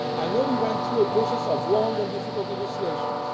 worked closely with the Commission. I know we went through a process